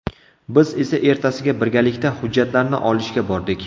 Biz esa ertasiga birgalikda hujjatlarni olishga bordik.